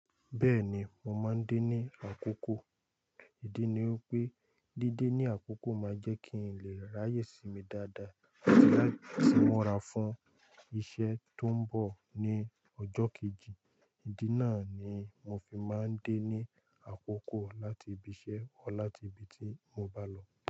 Bẹ́ẹ̀ni, mo máa ń dé ní àkókò. Ìdí ni wípé dídé ní àkókò máa jẹ́ kí n lè ráyè sinmi dáadáa àti láti múra fún iṣẹ́ tó ń bọ̀ ní ọjọ́ kejì. Ìdí náà ni mo fi máa ń dé ní àkókò láti ibi iṣẹ́ or láti ibi tí mo bá lọ.